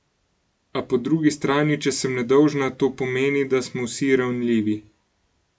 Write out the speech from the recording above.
A, po drugi strani, če sem nedolžna, to pomeni, da smo vsi ranljivi.